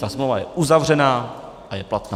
Ta smlouva je uzavřená a je platná.